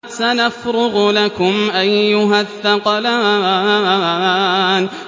سَنَفْرُغُ لَكُمْ أَيُّهَ الثَّقَلَانِ